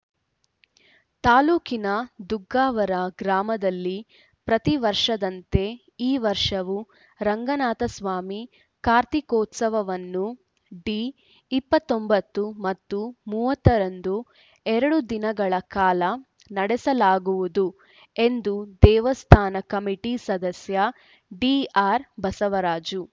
ತಾಲೂಕಿನ ದುಗ್ಗಾವರ ಗ್ರಾಮದಲ್ಲಿ ಪ್ರತಿವರ್ಷದಂತೆ ಈ ವರ್ಷವೂ ರಂಗನಾಥಸ್ವಾಮಿ ಕಾರ್ತಿಕೋತ್ಸವವನ್ನು ಡಿ ಇಪ್ಪತ್ತೊಂಬತ್ತು ಮತ್ತು ಮೂವತ್ತರಂದು ಎರಡು ದಿನಗಳ ಕಾಲ ನಡೆಸಲಾಗುವುದು ಎಂದು ದೇವಸ್ಥಾನ ಕಮಿಟಿ ಸದಸ್ಯ ಡಿಆರ್‌ಬಸವರಾಜು